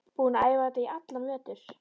Búinn að æfa þetta í allan vetur.